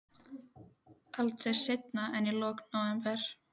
Aldrei seinna en í lok nóvember.